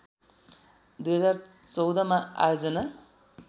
२०१४ मा आयोजना